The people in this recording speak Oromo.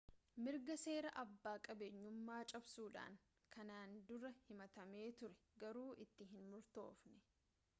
mirga seeraa abbaa qabeenyummaa cabsuudhaan kanaan dura himatamee ture garuu itti hin murtoofne